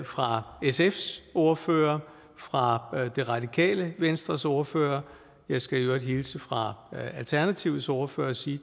fra sfs ordfører og fra det radikale venstres ordfører jeg skal i øvrigt hilse fra alternativets ordfører og sige